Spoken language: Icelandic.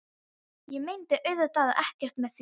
Ég meinti auðvitað ekkert með því.